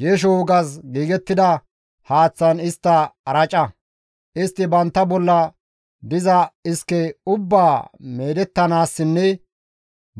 Geesho wogas giigettida haaththan istta araca; istti bantta bolla diza iske ubbaa meedettanaassinne